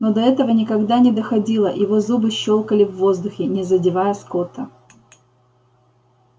но до этого никогда но доходило его зубы щёкали в воздухе не задевая скотта